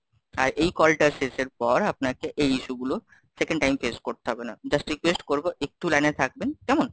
এই কলটা শেষের পর আপনাকে এই issue গুলো second time face করতে হবে না, Just request করবো, একটু লাইনে থাকবেন, কেমন?